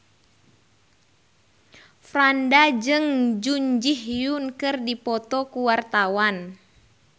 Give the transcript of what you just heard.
Franda jeung Jun Ji Hyun keur dipoto ku wartawan